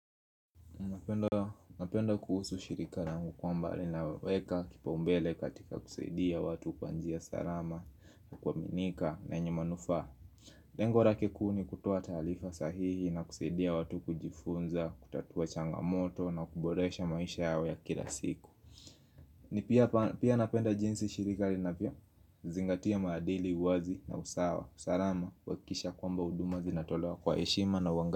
Napenda kuhusu shirika rangu kwamba linaweka kipaumbele katika kusaidia watu kwa njia sarama na kuaminika na yenye manufaa rengo rake kuu ni kutoa taalifa sahihi na kusaidia watu kujifunza, kutatua changamoto na kuboresha maisha yao ya kila siku. Ni pia napenda jinsi shirika livyo zingatia maadili, wazi na usawa. Sarama, kuhakikisha kwamba huduma zinatolewa kwa heshima na uanga.